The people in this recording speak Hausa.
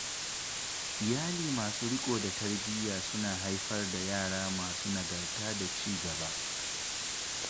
Iyali masu riƙo da tarbiyya suna haifar da yara masu nagarta da ci gaba.